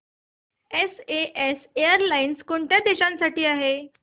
SAS airlines कोणत्या देशांसाठी आहे